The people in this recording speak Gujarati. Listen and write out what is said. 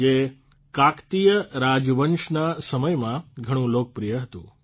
જે કાકતીય રાજવંશના સમયમાં ઘણું લોકપ્રિય હતું